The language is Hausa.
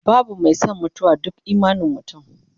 babu Mai San mutuwa, duk imanin mutum